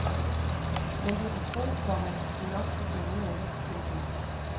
Men du kan tro, komma de nok skal finde ud af det. punktum